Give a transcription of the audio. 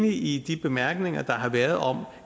enig i de bemærkninger der har været om